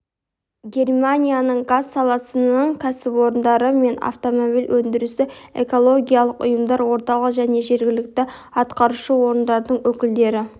германияның газ саласының кәсіпорындары мен автомобиль өндірісі экологиялық ұйымдар орталық және жергілікті атқарушы орындардың өкілдері